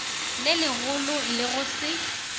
le legolo le go se